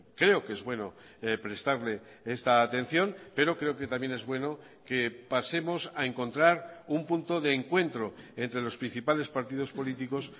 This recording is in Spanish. creo que es bueno prestarle esta atención pero creo que también es bueno que pasemos a encontrar un punto de encuentro entre los principales partidos políticos